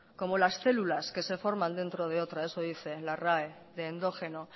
como las células que se forman dentro de otra eso dice la rae de endógeno